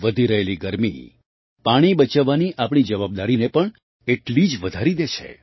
વધી રહેલી ગરમી પાણી બચાવવાની આપણી જવાબદારીને પણ એટલી જ વધારી દે છે